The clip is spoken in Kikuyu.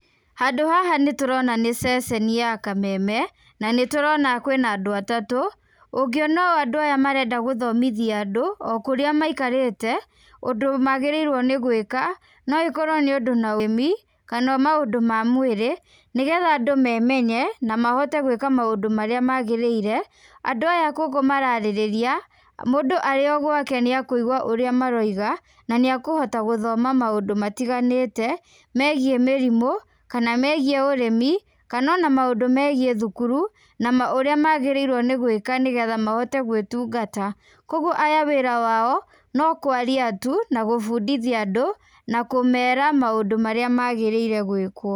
Handũ haha nĩ tũrona nĩ ceceni ya Kameme, na nĩ tũrona kwĩna andũ atatũ, ũngĩona ũũ andũ aya marenda gũthomithia andũ o kũrĩa maikarĩte ũndũ magĩrĩirwo nĩ gwĩka no ĩkorwo nĩ ũndũ na ũrĩmi kana maũndũ ma mwĩrĩ, nĩ getha andũ memenye, na mahote gwĩka maũndũ marĩa magĩrĩire. Andũ aya gũkũ mararĩrĩria, mũndũ arĩ o gwake nĩ akuigua ũrĩa maroiga, na nĩ akũhota gũthoma maũndũ matiganĩte megiĩ mĩrimũ kana megiĩ ũrĩmi, kana ona maũndũ megiĩ thukuru, na ũrĩa magĩrĩirwo nĩ gwĩka nĩ getha mahote gwĩtungata. Kũguo aya wĩra wao no kwaria tu, na gũbundithia andũ na kũmeera maũndũ marĩa magĩrĩire gwĩkwo.